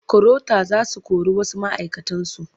Karota za su kori wasu ma'aikatansu.